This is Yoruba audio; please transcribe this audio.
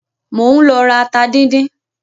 Mò ń lọ ra ata díndín.